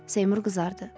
Seymur qızardı.